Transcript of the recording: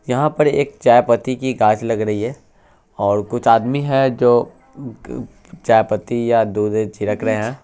यहाँ पर एक चाये पत्ती की घास लग रही है और कुछ आदमी है जो चाये पत्ती या दूध बुध छिड़क रहे है।